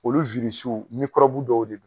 Olu wirisiw mikɔrɔbu dɔw de b'u la.